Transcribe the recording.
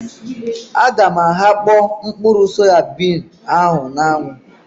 A ga m aghakpo mkpụrụ soyabin ahụ na-anwu